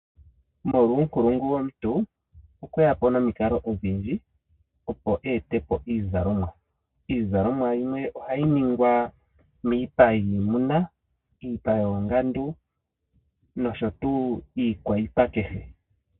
Molwa uunkulungu womuntu okweya po nomikalo odhindji opo eete po iizalomwa. Iizalomwa yimwe ohayi ningwa miipa yiimuna, miipa yoongandu nosho tuu iikwaipa kehe.